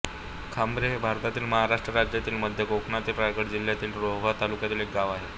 खांबेरे हे भारतातील महाराष्ट्र राज्यातील मध्य कोकणातील रायगड जिल्ह्यातील रोहा तालुक्यातील एक गाव आहे